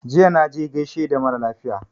Jiya na je gaishe da mara lafiya